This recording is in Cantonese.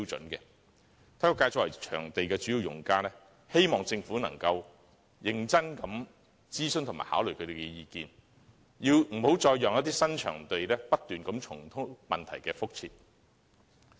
體育界作為場地的主要用家，希望政府能認真諮詢和考慮他們的意見，不要再讓新場地重蹈覆轍。